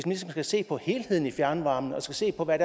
ligesom skal se på helheden i fjernvarmen og skal se på hvad